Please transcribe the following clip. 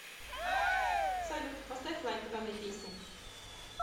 салют поставь лайк данной песне